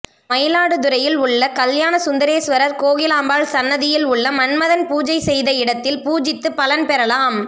மயிலாடுதுறையில் உள்ள கல்யாண சுந்தரேஸ்வரர் கோகிலாம்பாள் சந்நிதியில் உள்ள மன்மதன் பூஜை செய்த இடத்தில பூஜித்து பலன் பெறலாம்